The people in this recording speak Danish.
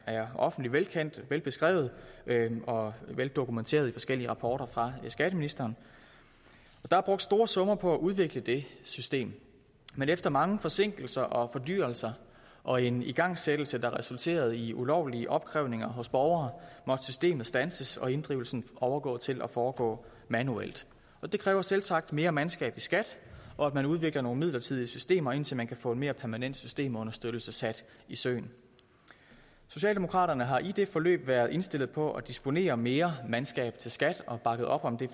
er offentligt kendt velbeskrevet og veldokumenteret i forskellige rapporter fra skatteministeren der er brugt store summer på at udvikle det system men efter mange forsinkelser og fordyrelser og en igangsættelse der resulterede i ulovlige opkrævninger hos borgere måtte systemet standses og inddrivelsen overgå til at foregå manuelt det kræver selvsagt mere mandskab i skat og at man udvikler nogle midlertidige systemer indtil man kan få en mere permanent systemunderstøttelse sat i søen socialdemokraterne har i det forløb været indstillet på at disponere med mere mandskab til skat og har bakket op om det